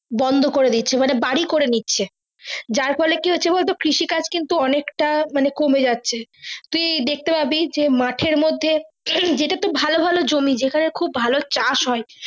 বন্দ করে দিচ্ছে মানে বাড়ি করে নিচে যাই ফলে কিহচ্ছে বলতো কৃষি কাজ তা অনেকটা কমে যাচ্ছে তুই দেখতে পাবি মাঠের মর্ধে হম যে টা তোর ভালো ভালো জমি যেখানে খুব ভালো চাষ হয়।